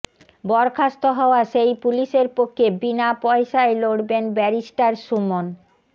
বরখাস্ত হওয়া সেই পুলিশের পক্ষে বিনা পয়সায় লড়বেন ব্যারিস্টার সুমন